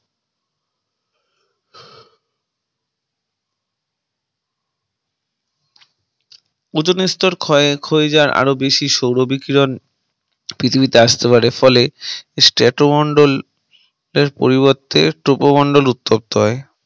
ozone এর স্তর ক্ষয়ের ক্ষয়ে যাওয়া আরো বেশি সৌর বিকিরণ পৃথিবীতে আসতে পারে ফলে Strato মন্ডল এর পরিবর্তে Tropo মন্ডল উত্তপ্ত হয়